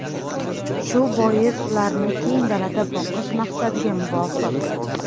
Shu bois, ularni keng dalada boqish maqsadga muvofiq.